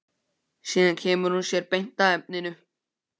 Síðan kemur hún sér beint að efninu.